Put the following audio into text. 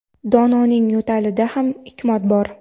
Dononing yo‘talida ham hikmat bor.